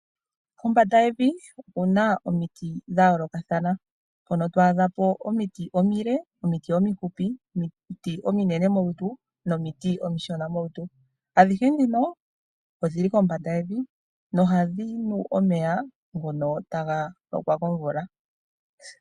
Kombanda yevi okuna omiti dha yoolokathana mpono to adha po omiti omile, omiti omifupi, omiti ominene molutu nomiti omishona molutu, adhihe dhino odhili kombanda yevi nohadhi nu omeya ngono taga lokwa komvula.